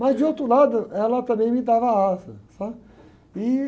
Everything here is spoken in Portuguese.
Mas, de outro lado, ela também me dava asa, sabe?